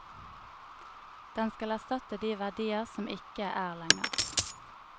Den skal erstatte de verdier som ikke er lenger.